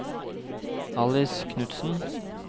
Alice Knudsen